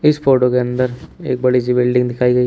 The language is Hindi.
इस फोटो के अंदर एक बड़ी सी बिल्डिंग दिखाई गई--